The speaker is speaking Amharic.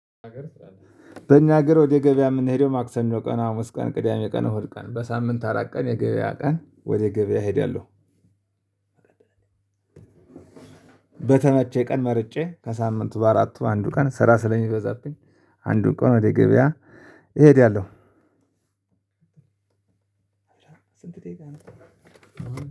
በእኛ ሀገር ወደ ገበያ የምንሄደው ማክሰኞ ቀን፣ ሀሙስ ቀን፣ ቅዳሜ ቀን፣ እሁድ ቀን በሳምንት አራት ቀን የገበያ ቀን ወደ ገበያ እሄዳለሁ። በተመቸ ቀን መርጬ ከሳምንቱ በአራቱ አንዱ ቀን ስራ ስለሚበዛብኝ አንዱ ቀን ወደ ገበያ እሄዳለሁ። ስንት ደቂቃ ነው